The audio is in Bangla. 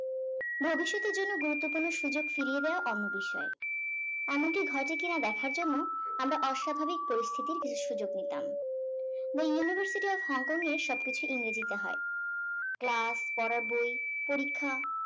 ভবিষতের জন্য গুরুত্বপূর্ণ বিষয় ফিরিয়ে দেওয়া অন্য বিষয় এমনটি ঘটে কি না দেখার জন্য আমরা অস্বাভাবিক পরিস্থিতির কিছু সুযোগ নিতাম the university of hong kong সব কিছু ইংরেজি তে হয় class পড়ার বই পরীক্ষা